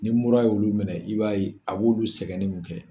Mura ye' olu minɛ, i b'a ye a b'olu sɛgɛnni mun kɛ.